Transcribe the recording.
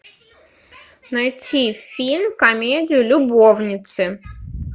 найти фильм комедию любовницы